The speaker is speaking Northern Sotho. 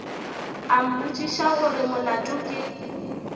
a mmotšiša gore molato ke